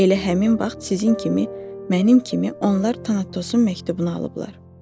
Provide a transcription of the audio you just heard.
Elə həmin vaxt sizin kimi, mənim kimi onlar Tanatosun məktubunu alıblar.